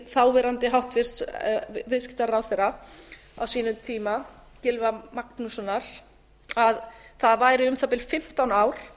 þáverandi hæstvirtur viðskiptaráðherra á sínum tíma gylfa magnússonar að það væri um það bil fimmtán ár